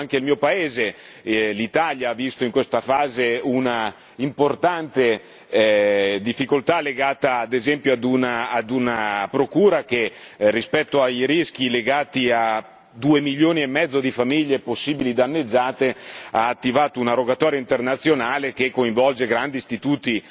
È chiaro anche il mio paese, l'Italia, ha visto in questa fase un'importante difficoltà legata, ad esempio, a una procura che rispetto ai rischi legati a 2 milioni e mezzo di famiglie possibili danneggiate ha attivato una rogatoria internazionale che coinvolge grandi istituti